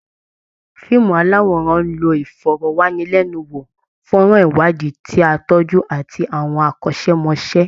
Fíìmù aláwòrán ń lo ìfọ̀rọ̀wánilẹ́nu wò, fọ́nrán iwadi ti á tọ́jú, àti àwọn akọ́ṣẹ́mọṣẹ́